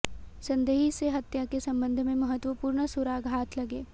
संदेही से हत्या के संबंध में महत्वपूर्ण सुराग हाथ लगे